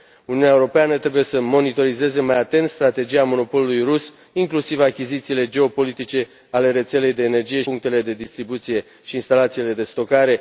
Uniunea Europeană trebuie să monitorizeze mai atent strategia monopolului rus inclusiv achizițiile geopolitice ale rețelei de energie și punctele de distribuție și instalațiile de stocare.